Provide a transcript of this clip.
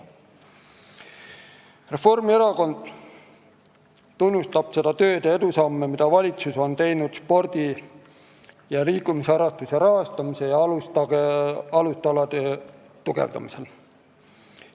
Reformierakond tunnustab seda tööd ja edusamme, mida valitsus on teinud spordi ja liikumisharrastuse rahastamisel ja alustalade tugevdamisel.